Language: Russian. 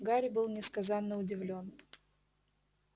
гарри был несказанно удивлён